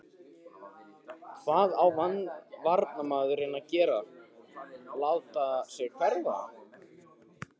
Hvað á varnarmaðurinn að gera láta sig hverfa?